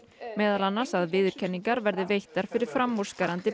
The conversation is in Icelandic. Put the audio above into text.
meðal annars að viðurkenningar verði veittar fyrir framúrskarandi